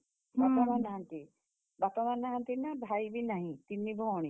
ବାପା ମାଆ ନାହାନ୍ତି ବାପା ମାଆ ନାହାନ୍ତି ନା ଭାଇ ବି ନାହିଁ, ତିନି ଭଅଣୀ।